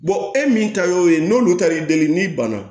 e min ta y'o ye n'olu ta y'i deli n'i ban na